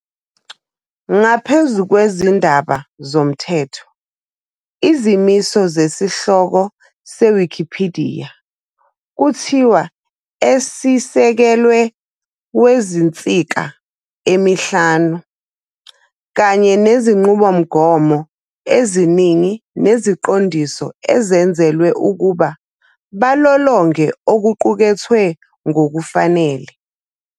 Ngaphezu kwezindaba zomthetho, izimiso sesihloko seWikipidiya kuthiwa esisekelwe 'wezinsika emihlanu ", kanye nezinqubomgomo eziningi neziqondiso enzelwe ukuba balolonge okuqukethwe ngokufanele.